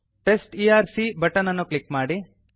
test ERC button ಅನ್ನು click ಮಾಡಿ